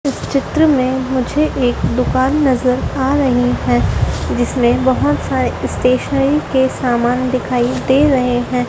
इस चित्र में मुझे एक दुकान नजर आ रही है जिसमें बहोत सारे स्टेशनरी के समान दिखाइए दे रहे हैं।